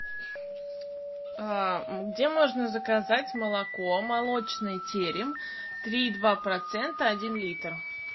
где можно заказать молоко молочный терем три и два процента один литр